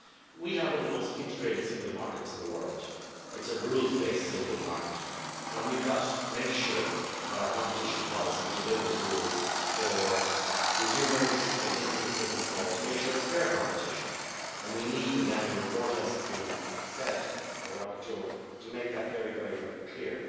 We have one of the most integrated single markets in the world. It is a rules based single market, and we have got to make sure that our competition policy delivers rules for consumers and for businesses big and small, to make sure it is fair competition, and we need in the Annual Report as has been said by the rapporteur to make that very, very, clear.